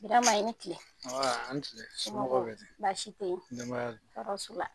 Birama i ni kile, an ba, a ni kile somɔgɔw bɛ di ? Baasi tɛ yen, denbaya dun ? Tɔɔrɔ su la.